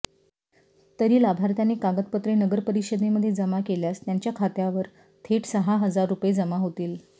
तरी लाभार्थ्यानी कागदपत्रे नगरपरिषदेमध्ये जमा केल्यास त्यांच्या खात्यावर थेट सहा हजार रूपये जमा होतील